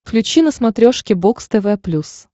включи на смотрешке бокс тв плюс